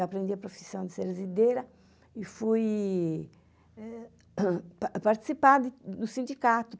Eu aprendi a profissão de servideira e fui participar do sindicato.